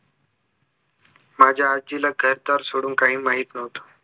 माझ्या आज्जीला घरदार सोडून काही माहित नव्हतं